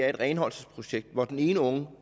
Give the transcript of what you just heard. i et renholdelsesprojekt hvor den ene unge